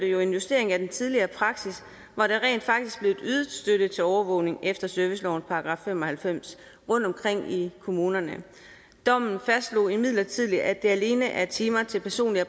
jo en justering af den tidligere praksis hvor der rent faktisk blev ydet støtte til overvågning efter servicelovens § fem og halvfems rundtomkring i kommunerne dommen fastslog imidlertid at det alene er timer til personlig og